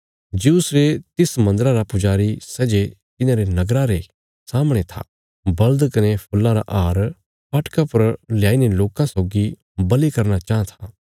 ज्यूस रे तिस मन्दरा रा पुजारी सै जे तिन्हांरे नगरा रे सामणे था बल़द कने फूल्लां रा हार फाटका पर लयाई ने लोकां सौगी बल़ि करना चाँह था